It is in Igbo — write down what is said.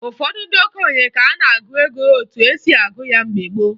Ụfọdụ ndị okenye ka n'agụ ego etu esi agụ ya mgbe gboo